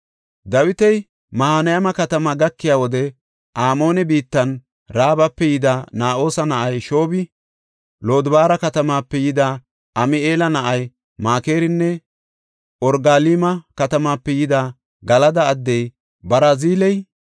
Dawiti Mahanayma katamaa gakiya wode Amoone biittan Raabape yida Na7oosa na7ay Shoobi, Lodobaara katamape yida Ami7eela na7ay Makirinne Orogalma katamape yida Galada addey Barziley,